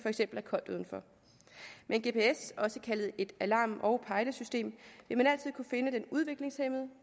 er koldt udenfor med en gps også kaldet et alarm og pejlesystem vil man altid kunne finde den udviklingshæmmede